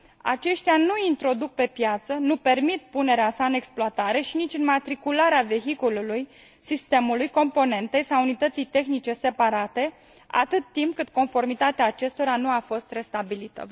aceștia nu îl introduc pe piață, nu permit punerea sa în exploatare și nici înmatricularea vehiculului, sistemului, componentei sau unității tehnice separate, atât timp cât conformitatea acestora nu a fost restabilită.